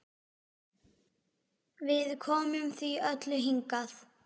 Við komum því öllu hingað.